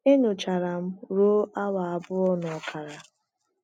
e nyochara m ruo awa abụọ na ọkara.